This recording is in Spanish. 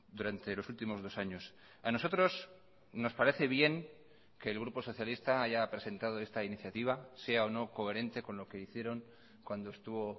durante los últimos dos años a nosotros nos parece bien que el grupo socialista haya presentado esta iniciativa sea o no coherente con lo que hicieron cuando estuvo